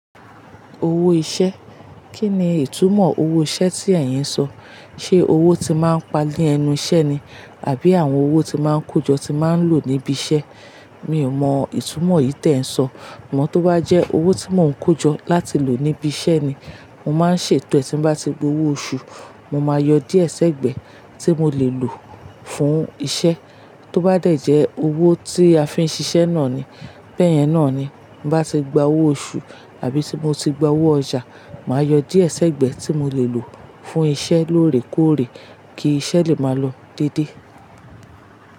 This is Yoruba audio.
Owó iṣẹ́. Kí ni ìtumọ̀ owó iṣẹ́ tí ẹ̀yin ń sọ? Ṣé owó tí máa ń pa ni ẹnu iṣẹ́ ni? Àbí àwọn owó tí máa ń kójọ tí máa ń lò níbi iṣẹ́? Mi ò mọ ìtumọ̀ yìí tí ẹ ń sọ. Ṣugbọn tó bá jẹ́ owó tí mò ń kójọ láti lò níbi iṣẹ́ ni, mo máa ń ṣètò ẹ́ tí bá ti gba owó oṣù. Mo máa yọ díẹ̀ ṣẹ́gbẹ̀ẹ́ tí mo lè lò fún iṣẹ́. Tó bá dẹ̀ jẹ́ owó tí a fi ń ṣiṣẹ́ náà ni, bẹ́ẹ̀ yẹn náà ni. Bá ti gba owó oṣù àbí tí mo ti gba owó ọjà, màá yọ díẹ̀ ṣẹ́gbẹ̀ẹ́ tí mo lè lò fún iṣẹ́ lóòrèkóòrè kí iṣẹ́ lè máa lọ dédé.